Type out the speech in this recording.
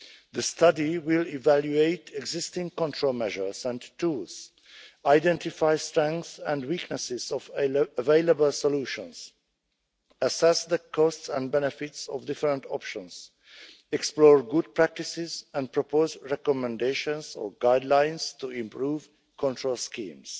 The study will evaluate existing control measures and tools, identify the strengths and weaknesses of available solutions, assess the costs and benefits of different options, explore good practices and propose recommendations or guidelines to improve control schemes.